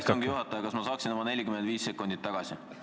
Hea istungi juhataja, kas ma saaksin oma 45 sekundit tagasi?